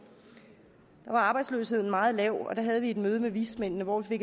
da var arbejdsløsheden meget lav og der havde vi et møde med vismændene hvor vi